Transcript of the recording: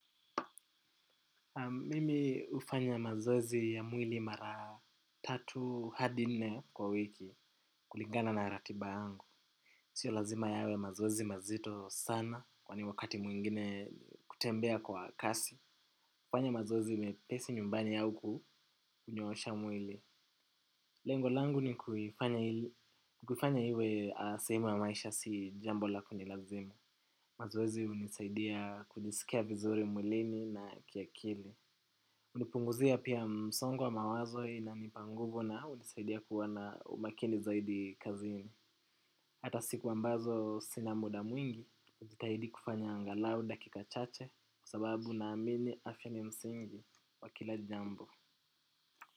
Mimi hufanya mazoezi ya mwili mara tatu hadi nne kwa wiki kulingana na ratiba yangu. Sio lazima yawe mazoezi mazito sana kwani wakati mwingine kutembea kwa kasi. hUfanya mazozi mepesi nyumbani au kunyoosha mwili. Lengo langu ni kuifanya iwe a sehemu ya maisha si jambo la kunilazimu. Mazoezi hunisaidia kujisikia vizuri mwilini na kiakili. Hunipunguzia pia msongo wa mawazo inanipa nguvu na hunisaidia kuwa na umakini zaidi kazini. Hata siku ambazo sina muda mwingi, hutitahidi kufanya angalau dakika chache. Kwa sababu naamini afya ni msingi wa kila jambo.